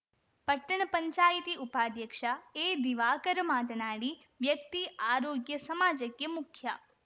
ಪಟ್ಟಣ ಪಂಚಾಯಿತಿ ಉಪಾಧ್ಯಕ್ಷ ಎದಿವಾಕರ ಮಾತನಾಡಿ ವ್ಯಕ್ತಿ ಆರೋಗ್ಯ ಸಮಾಜಕ್ಕೆ ಮುಖ್ಯ